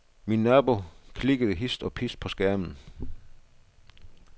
Min nabo klikkede hist og pist på skærmen.